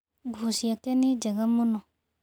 Nguo ciake nĩ njega mũno.